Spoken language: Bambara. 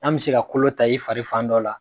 N'an bɛ se ka kolo ta i fari fan dɔ la